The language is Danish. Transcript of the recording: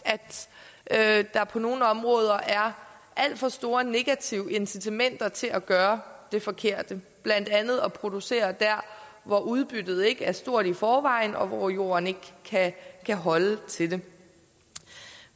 at der på nogle områder er alt for store negative incitamenter til at gøre det forkerte blandt andet at producere der hvor udbyttet ikke er stort i forvejen og hvor jorden ikke kan holde til det